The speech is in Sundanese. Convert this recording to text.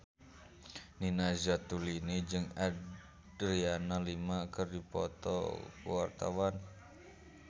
Nina Zatulini jeung Adriana Lima keur dipoto ku wartawan